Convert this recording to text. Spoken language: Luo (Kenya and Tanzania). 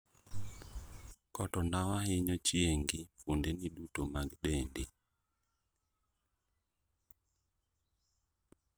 Koto ndawa hinyo chiengi fuondni duto mag dendi.